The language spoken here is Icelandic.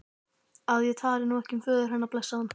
að ég tali nú ekki um föður hennar, blessaðan.